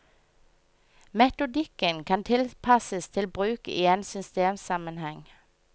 Metodikken kan tilpasses til bruk i en systemsammenheng.